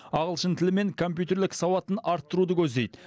ағылшын тілі мен компьютерлік сауатын арттыруды көздейді